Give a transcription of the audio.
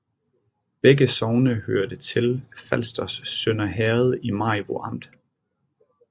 Begge sogne hørte til Falsters Sønder Herred i Maribo Amt